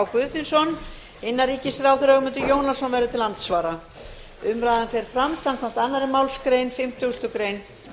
guðfinnsson og innanríkisráðherra ögmundur jónasson verður til andsvara umræðan fer fram samkvæmt annarri málsgrein fimmtugustu grein